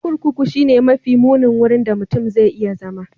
Kurkuku shine mafi munin wurin da mutum zai iya zama.